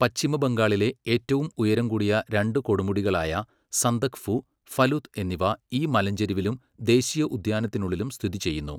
പശ്ചിമ ബംഗാളിലെ ഏറ്റവും ഉയരം കൂടിയ രണ്ട് കൊടുമുടികളായ സന്ദക്ഫു, ഫലുത് എന്നിവ ഈ മലഞ്ചെരിവിലും ദേശീയോദ്യാനത്തിനുള്ളിലും സ്ഥിതിചെയ്യുന്നു.